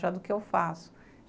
Já do que eu faço.